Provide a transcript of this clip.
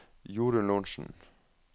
Jorun Lorentzen